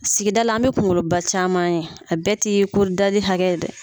Sigida la an bɛ kungolo ba caman ye a bɛɛ ti ko dali hakɛ ye dɛ.